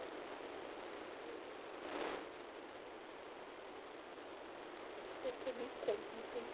Tem alguma coisa que você percebeu contando a sua história de vida?ercebi como? Eu não entendi.